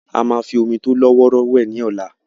A máa fi omi tó lọ́wọ́rọ́ wẹ̀ ní ọ̀la.